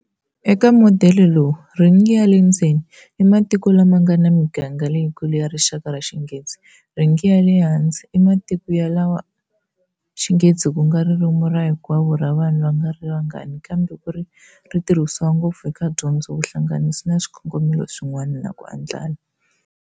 Eka modele lowu, "ring ya le ndzeni" i matiko lama nga na miganga leyikulu ya rixaka ra Xinghezi,"ring ya le handle" i matiko lawa Xinghezi ku nga ririmi ra rikwavo ra vanhu va nga ri vangani ntsena kambe ri tirhisiwa ngopfu eka dyondzo, vuhlanganisi na swikongomelo swin'wana, na "ku andlala."